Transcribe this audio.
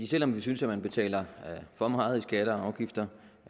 selv om vi synes at man betaler for meget i skatter og afgifter